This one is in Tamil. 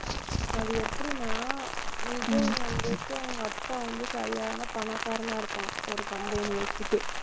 அது எப்படின்னா, விஜய் வந்துட்டு அவங்க அப்பா வந்து சரியான பணக்காரனா இருப்பான். ஒரு company வச்சுட்டு.